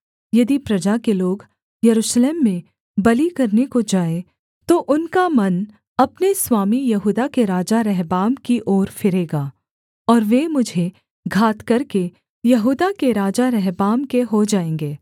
यदि प्रजा के लोग यरूशलेम में बलि करने को जाएँ तो उनका मन अपने स्वामी यहूदा के राजा रहबाम की ओर फिरेगा और वे मुझे घात करके यहूदा के राजा रहबाम के हो जाएँगे